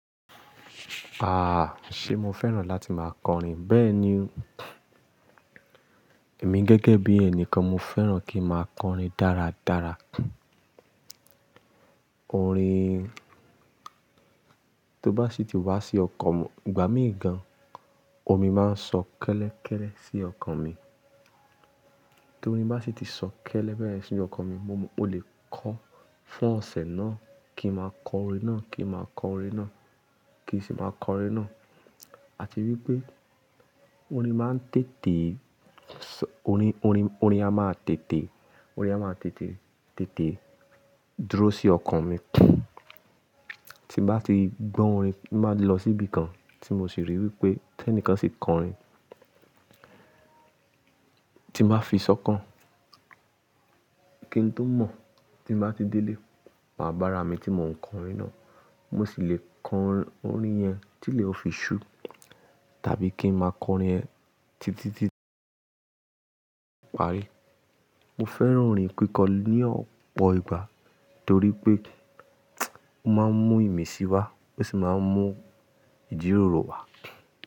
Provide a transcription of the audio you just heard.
Ah! Ṣe mo fẹ́ràn láti máa kọrin? Bẹ́ẹ̀ni, èmi gẹ́gẹ́ bí ẹnìkan mo fẹ́ràn kí n máa kọrin dáradára. Orin~~, tó bá sì ti wá sí ọkàn, ìgbà mìí gàn, omi máa ń sọ kẹ́lẹ́kẹ́lẹ́ sí ọkàn mi. Tó orin bá sì ti sọ kẹ́lẹ́ bẹe yen sínu ọkàn mi, mo lè kọ fún ọ̀sẹ̀ náà, kí n máa kọ orin náà, kí n máa kọ orin náà, kí n sì máa kọ orin náà. A ti rí pé orin máa ń tètè~~, orin, orin, orin á máa tètè, orin á máa tètè, tètè dúró sí ọkàn mi. Tí bá ti gbọ́ orin, mo máa lọ síbi kan tí mo sì rí wí pé tẹ́nìkán sì kọ orin Tí n màá fi sọkàn. Kí n tó mọ̀, tí n ba ti délé, mà bára mi tí mò ń kọ orin náà. Mo sì lè kọ orin yẹn tí ilè o fi ṣúu, tàbí kí n máa kọ orin yẹn títí tí~~ parí. Mo fẹ́ràn orin kíkọ ní ọ̀pọ̀ ìgbà torí pé ó máa ń mú ìmísí wá, ó sì máa ń mú ìjíròrò wá.